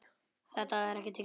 Þetta hefur tekið langan tíma.